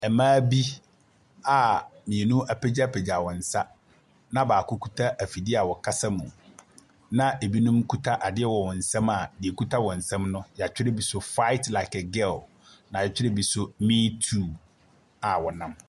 Mmaa bi a mmienu apagyapagya wɔn nsa na baako akita afidie ɛrekasa mu, na ɛbinom kita adeɛ ɛwɔ wɔn nsam a deɛ akita wɔn nsam no, yɛatwerɛ bi so fight like a girl, na yɛatwerɛ bi so me too a wɔnam.